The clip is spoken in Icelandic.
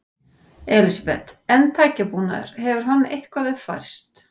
Elísabet: En tækjabúnaður, hefur hann eitthvað uppfærst?